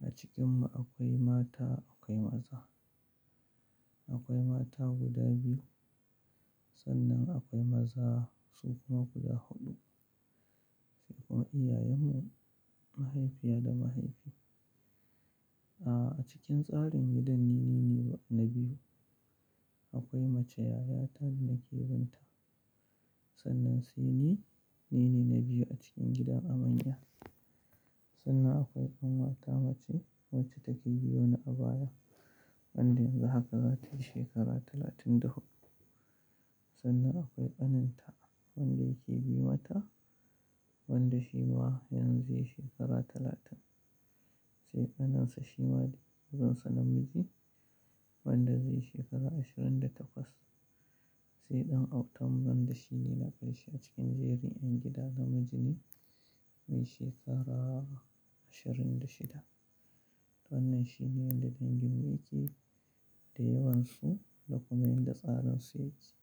A cikinmu akwai mata, akwai maza. Akwai mata guda biyu, sannan akwai maza su kuma guda huɗu. Sai kuma iyayenmu, mahaifiya da mahaifi. Ah, a cikin tsarin gidan ni ne na biyu. Akwai mace yayata da nake binta, sannan sai ni, ni ne na biyu a cikin gida a manya. Sannan akwai ƙanwata mace wacce take biyo ni a baya, wanda yanzu haka zatayi shekara talatin da huɗu. Sannan akwai ƙaninta wanda yake bi mata, wanda shi ma yanzu ya yi shekara talatin. Sai ƙaninsa shi ma, kaninsa namiji, wanda zai yi shekara ashirin da takwas. Sai ɗan autanmu wanda shi ne na karshe a cikin jerin ƴan gidan namiji ne mai shekara ashirin da shida. Wannan shine yadda danginmu yake, da yawansu da kuma yadda tsarinsu ya ke.